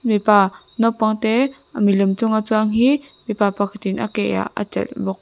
mipa naupang te milem chunga chuang hi mipa pakhatin a ke ah a chelh bawk.